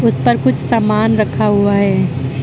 ऊपर कुछ सामान रखा हुआ है।